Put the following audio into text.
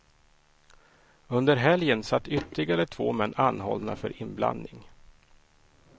Under helgen satt ytterligare två män anhållna för inblandning.